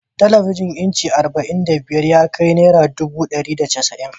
Talabijin inci arba'in da biyar ya kai naira dubu dari da casa'in